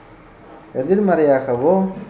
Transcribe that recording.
எதிர்மறையாகவோ